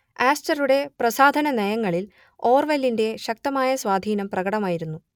ആസ്റ്ററുടെ പ്രസാധനനയങ്ങളിൽ ഓർവെലിന്റെ ശക്തമായ സ്വാധീനം പ്രകടമായിരുന്നു